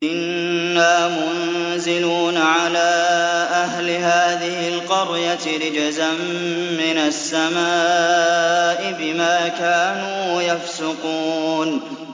إِنَّا مُنزِلُونَ عَلَىٰ أَهْلِ هَٰذِهِ الْقَرْيَةِ رِجْزًا مِّنَ السَّمَاءِ بِمَا كَانُوا يَفْسُقُونَ